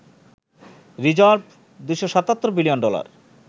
reserve ২৭৭ billion dollar